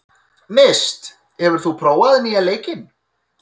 Mist, hefur þú prófað nýja leikinn?